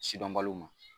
Sidɔnbaliw ma